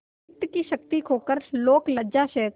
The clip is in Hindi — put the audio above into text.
चित्त की शक्ति खोकर लोकलज्जा सहकर